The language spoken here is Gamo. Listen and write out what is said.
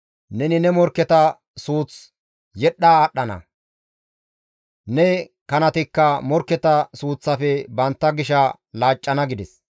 Neni ne morkketa suuth yedhdha aadhdhana; ne kanatikka morkketa suuththafe bantta gisha laaccana» gides.